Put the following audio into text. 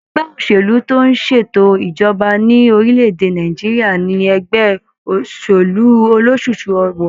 Ẹgbẹ́ òṣèlú tó ń ṣètò ìjọba ní orílẹ̀ èdè Nàìjíríà ní ẹgbẹ́ òṣèlú ólosúsú ọwọ.